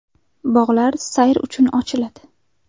Bog‘lar sayr uchun ochiladi.